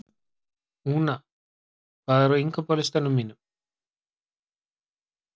Úna, hvað er á innkaupalistanum mínum?